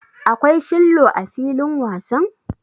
Akwai shillo a filin wasan.